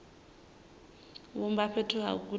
vhumba fhethu ha u gudela